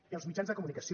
i els mitjans de comunicació